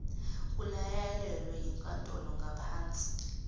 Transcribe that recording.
kuyalelwe yinkantolo ngapahnsi